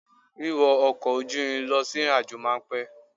Wíwọ ọkọ̀ ojú irin lọ sí ìrìnàjò máa pẹ́.